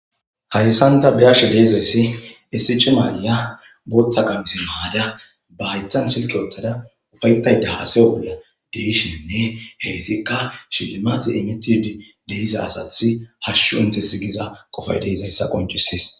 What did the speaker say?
Hayssan ta bea'she dizaysi issi cima ayiya boththa qamise mayada, hayththan sileke wotada hasa bollan dizaysi hayssika shilimate imetide dizaysa bettes.assati hashshu intesi gidaysi